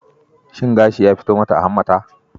Shin gashi ya fito mata a hammata?